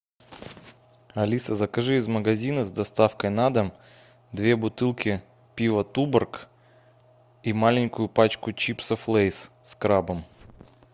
алиса закажи из магазина с доставкой на дом две бутылки пива туборг и маленькую пачку чипсов лейс с крабом